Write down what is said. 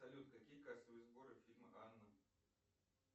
салют какие кассовые сборы фильма анна